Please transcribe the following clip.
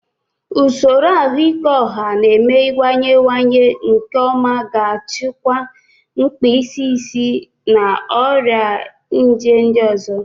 Usoro ahụike ọha na-emewanyewanye nke ọma ga-achịkwa mkpịsị isi na ọrịa nje ndị ọzọ.